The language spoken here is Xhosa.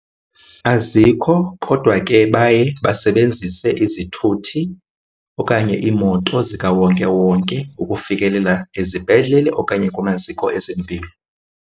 Azikho kodwa ke baye basebenzise izithuthi okanye iimoto zikawonkewonke ukufikelela ezibhedlele okanye kumaziko ezempilo.